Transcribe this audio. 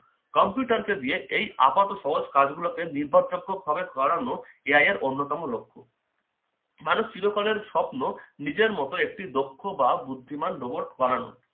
কম্পিউটারকে দিয়ে এই আপাত সহজ কাজগুলো নির্ভরযোগ্য ভাবে করানো AI এর অন্যতম লক্ষণ মানব চিরকল্যাণের স্বপ্ন নিজের মতো একটি দক্ষ বা বুদ্ধিমান robot বানানো